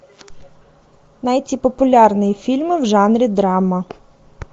найти популярные фильмы в жанре драма